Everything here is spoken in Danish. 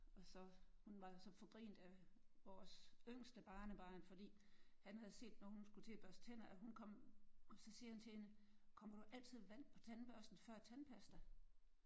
Og så hun var jo så forgrint af vores yngste barnebarn fordi han havde set nogen skulle til at børste tænder at hun kom og så sagde han til hende: Kommer du altid vand først på tandbørsten før tandpasta?